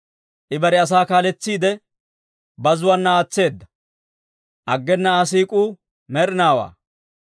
I bare asaa kaaletsiide, bazzuwaana aatseedda; aggena Aa siik'uu med'inaawaa.